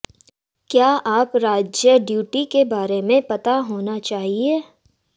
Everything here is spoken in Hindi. क्या आप राज्य ड्यूटी के बारे में पता होना चाहिए